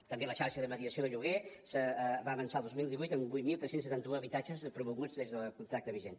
també la xarxa de mediació de lloguer va avançar el dos mil divuit amb vuit mil tres cents i setanta un habitatges promoguts des del contracte vigent